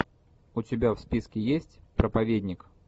у тебя в списке есть проповедник